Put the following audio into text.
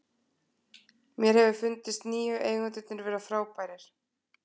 Mér hefur fundist nýju eigendurnir vera frábærir.